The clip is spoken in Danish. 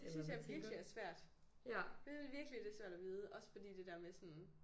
Det synes jeg virkelig er svært. Jeg synes virkelig det svært at vide også fordi det der med sådan